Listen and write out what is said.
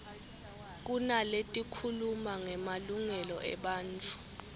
kunaletikhuluma ngemalungelo ebantfu